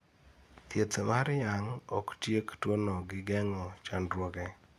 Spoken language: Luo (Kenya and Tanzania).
thieth mar yang' oktiek tuwono gi geng'o chandruoge